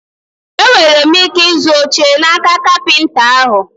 E nwere m ike ịzụ oche n'aka kapịnta ahụ?